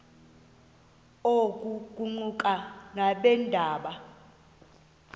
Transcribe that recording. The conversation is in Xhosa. oku kuquka nabeendaba